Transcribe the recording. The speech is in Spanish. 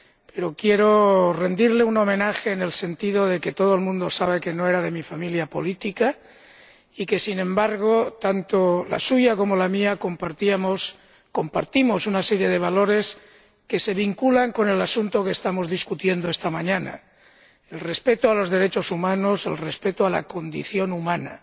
Pero quiero rendirle un homenaje en el sentido de que todo el mundo sabe que no era de mi familia política y sin embargo, tanto la suya como la mía compartimos una serie de valores que se vinculan con el asunto que estamos discutiendo esta mañana el respeto a los derechos humanos, el respeto a la condición humana.